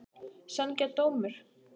Sanngjarn dómur?